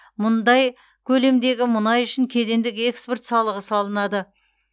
мұндай көлемдегі мұнай үшін кедендік экспорт салығы салынады